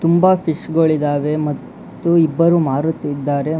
ತುಂಬಾ ಫಿಶ್ ಗೋಳಿದಾವೆ ಮತ್ತು ಇಬ್ಬರು ಮಾರುತ್ತಿದ್ದಾರೆ.